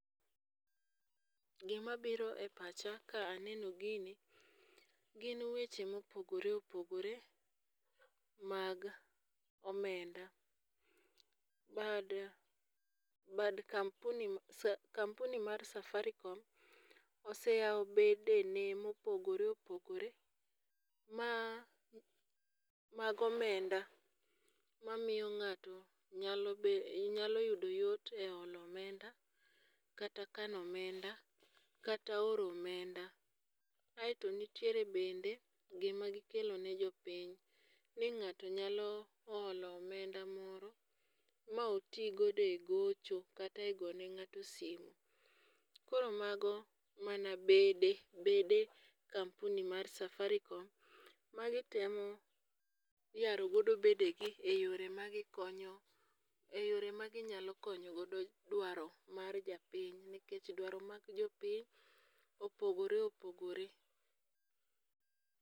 Gimabiro e pacha ka aneno gini, gin weche mopogore opogore mag omenda, bad bad kampuni mar Safarico oseyawo bedene mopogore opogore, ma mag omenda mamiyo ng'ato nyalo yudo yot e olo omenda kata kano omenda, kata oro omenda, kaeto nitiere bende gima gikelone jo piny, ni ng'ato nyalo olo omenda moro ma otigo e gocho kata gone ng'ato simu, koro mago mana bede mar kampuni mar Safaricom magitemo yarogodo bedege e yore magikonyo e yore maginyalo konyogodo dwaro mag jo piny nikech dwaro mag jo piny opogore opogore.